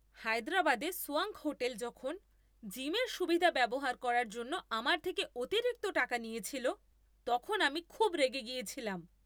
হায়দরাবাদে swank hotel যখন জিমের সুবিধা ব্যবহার করার জন্য আমার থেকে অতিরিক্ত টাকা নিয়েছিল, তখন আমি খুব রেগে গেছিলাম।